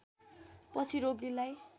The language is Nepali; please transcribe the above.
पछि रोगीलाई